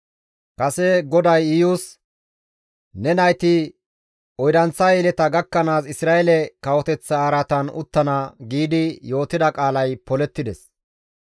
Kase GODAY Iyus, «Ne nayti oydanththa yeleta gakkanaas Isra7eele kawoteththa araatan uttana» giidi yootida qaalay polettides.